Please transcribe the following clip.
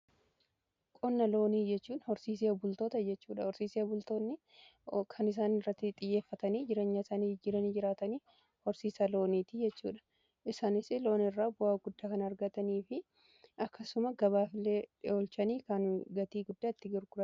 Qonna loonii jechuun horsiisia bultoota jechuudha. Horsiisee bultoonni kan isaanii irratti xiyyeeffatanii jireenya isaanii jijjiiranii jiraatanii horsiisaa looniiti jechuudha. Isaanis loon irraa bu'aa guddaa kan argatanii fi akkasuma gabaaf illee dhiyeechanii kan gatii guddaa itti argataniidha.